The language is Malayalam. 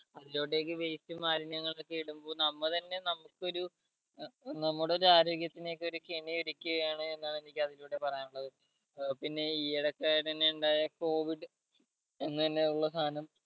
അതിലൊട്ടെക്ക് waste ഉം മാലിന്യങ്ങളു ഒക്കെ ഇടുമ്പോ നമ്മ തന്നെ നമുക്കൊരു ഏർ നമ്മുടെ എല്ലാം ആരോഗ്യത്തിന് ഒക്കെ ഒരു കെണി ഒരുക്കുക ആണ് എന്നാണ് എനിക്ക് അതിലൂടെ പറയാനുള്ളത് ഏർ പിന്നെ ഈ ഇടക്ക് തന്നെ ഇണ്ടായ covid എന്ന് തന്നെ ഉള്ള സാനം